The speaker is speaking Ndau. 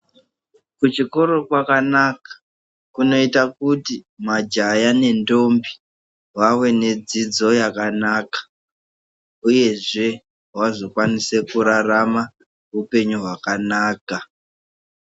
Kuchikora kakanaka kunoita kuti majaha nendombi vave nedzidzo yakanaka, uyezve vazokwanise kurarama hupenyu hwakanaka.